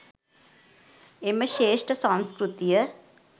එම ශ්‍රේෂ්ඨ සංස්කෘතිය